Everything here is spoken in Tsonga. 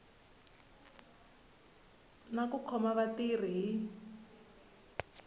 na ku khoma vatirhi hi